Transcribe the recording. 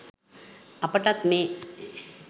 අපටත් මේ